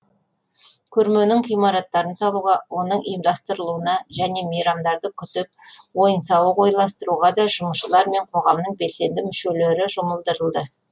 көрменің ғимараттарын салуға оның ұйымдастырылуына және мейрамдарды күтіп ойын сауық ойластыруға да жұмысшылар мен қоғамның белсенді мүшелері жұмылдырылды